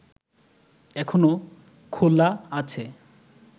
এখনো খোলা আছে